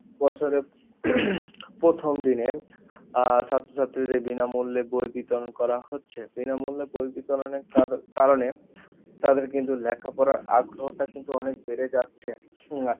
বছরে প্রথম দিনে আহ ছাত্র ছাত্রীদের বিনা মূল্যে বই বিতরন করা হচ্ছে বিনা মূল্যে বই বিতরণের কার~কারণে তাদের কিন্তু লেখাপড়ার আগ্রহটা কিন্তু অনেক বেড়ে যাচ্ছে